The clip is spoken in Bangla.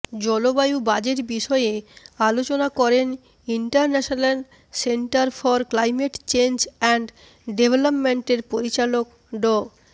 জলবায়ু বাজেট বিষয়ে আলোচনা করেন international centre for climate change and ডেভেলপমেন্টের পরিচালক ড